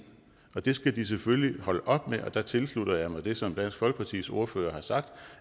og det skal de selvfølgelig holde op med og der tilslutter jeg mig det som dansk folkepartis ordfører har sagt